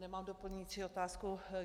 Nemám doplňující otázku.